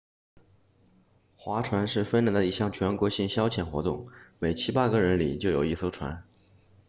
划船是芬兰的一项全国性消遣活动每七八个人里就有一艘船